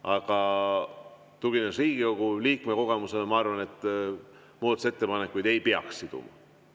Aga tuginedes Riigikogu liikme kogemusele, ma arvan, et muudatusettepanekuid ei peaks siduma.